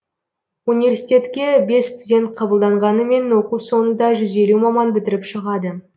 университетке бес студент қабылданғанымен оқу соңында жүз елу маман бітіріп шығады